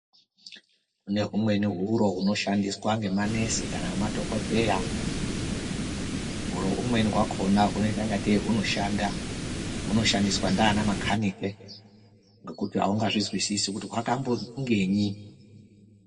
Kune humweni huro hunoshandiswa ngemanesi, kana nemadhokodheya. Huro humweni hwakhona hunoita ingatei hunoshanda, hunoshandiswa ndianamakhanike, ngekuti aungazvizwisisi kuti hwakambofungenyi.